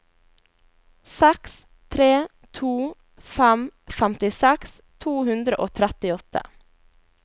seks tre to fem femtiseks to hundre og trettiåtte